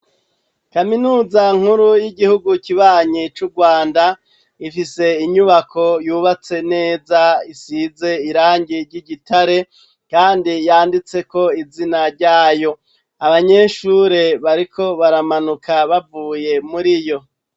Kaminuza nkuru y'igihugu kibanyi c'Urwanda, ifise inyubako yubatse neza isize irangi ry'igitare kandi yanditse ko izina ryayo, abanyeshure bariko baramanuka bavuye muri yo.